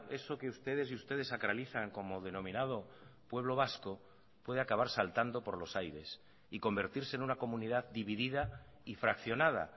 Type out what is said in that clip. eso que ustedes y ustedes sacralizan como denominado pueblo vasco puede acabar saltando por los aires y convertirse en una comunidad dividida y fraccionada